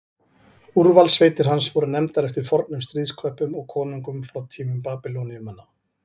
Úrvalssveitir hans voru nefndar eftir fornum stríðsköppum og konungum frá tímum Babýloníumanna.